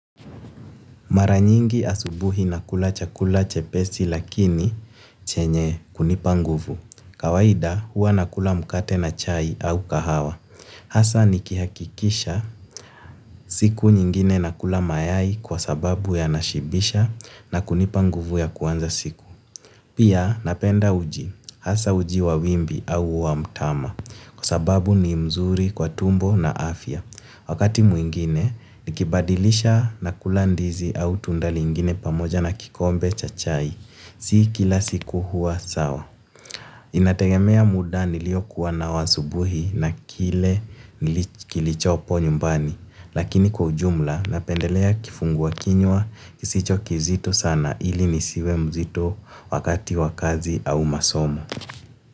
Maranyingi asubuhi nakula chakula chepesi lakini chenye kunipa nguvu. Kawaida huwa nakula mkate na chai au kahawa. Hasa nikihakikisha siku nyingine nakula mayai kwa sababu yanashibisha na kunipa nguvu ya kuanza siku. Pia napenda uji. Hasa uji wa wimbi au wa mtama kwa sababu ni mzuri kwa tumbo na afya. Wakati mwingine nikibadilisha nakula ndizi au tunda lingine pamoja na kikombe cha chai. Si kila siku huwa sawa. Inategemea muda nilio kuwa nao asubuhi, na kile kilichopo nyumbani, lakini ujumla napendelea kifungua kinywa kisicho kizito sana ili nisiwe mzito wakati wakazi au masomo.